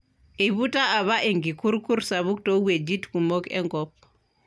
Eiputa apa enkikurrukur sapuk too wuejit kumok enkoop.